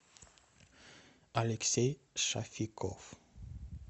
алексей шафиков